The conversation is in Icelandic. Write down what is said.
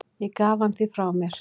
Ég gaf hann því frá mér.